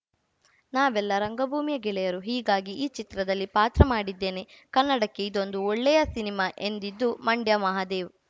ನಾವೆಲ್ಲ ರಂಗಭೂಮಿಯ ಗೆಳೆಯರು ಹೀಗಾಗಿ ಈ ಚಿತ್ರದಲ್ಲಿ ಪಾತ್ರ ಮಾಡಿದ್ದೇನೆ ಕನ್ನಡಕ್ಕೆ ಇದೊಂದು ಒಳ್ಳೆಯ ಸಿನಿಮಾ ಎಂದಿದ್ದು ಮಂಡ್ಯ ಮಹದೇವ್‌